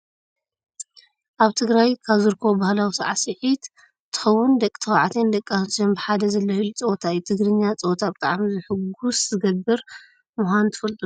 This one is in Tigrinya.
ኣብ ትግራይ ካብ ዝርከቡ ባህላዊ ሳዕስዒት ትግርኛ እንትከውን ደቂ ተባዕትዮን ዲቂ ኣንስትዮን ብሓደ ዝላሃይሉ ፀወታ እዩ። ትግርኛ ፀወታ ብጣዕሚ ሑጉስ ዝገብር ምኳኑ ትፈልጡ ዶ?